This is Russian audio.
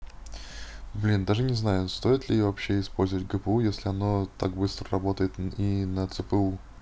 блин даже не знаю стоит ли вообще использовать гпу если оно так быстро работает и на цпу